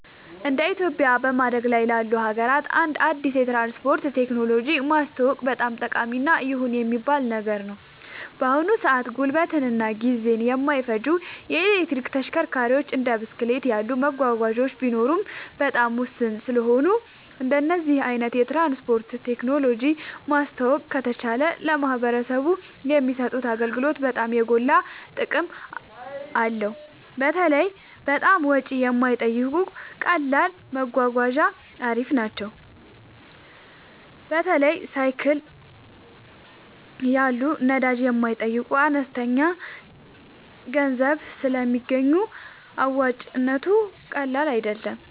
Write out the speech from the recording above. እንደ ኢትዮጵያ በማደግ ላይ ላሉ ሀገራት አንድ አዲስ የትራንስፖርት ቴክኖሎጂ ማስተዋወቅ በጣም ጠቃሚ እና ይሁን የሚባል ነገር ነው። በአሁን ሰአት ጉልበትን እና ጊዜን የማይፈጁ የኤሌክትሪክ ተሽከርካሪዎች እንደ ብስክሌት ያሉ መጓጓዣዎች ቢኖሩም በጣም ውስን ስለሆኑ እንደዚህ አይነት የትራንስፖርት ቴክኖሎጂ ማስተዋወቅ ከተቻለ ለማህበረሰቡ የሚሰጡት አገልግሎት በጣም የጎላ ጥቅም አለው። በተለይ በጣም ወጪ የማይጠይቁ ቀላል መጓጓዣ አሪፍ ናቸው። በተለይ ሳይክል ያሉ ነዳጅ የማይጠይቁ በአነስተኛ ገንዘብ ስለሚገኙ አዋጭነቱ ቀላል አይደለም